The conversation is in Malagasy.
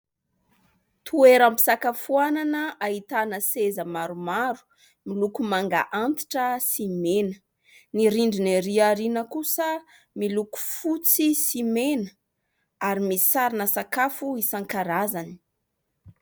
Toeram-pisakafoanana ahitana seza maromaro miloko manga antitra sy mena, ny rindriny erỳ aoriana kosa miloko fotsy sy mena ary misy sarina sakafo isankarazany.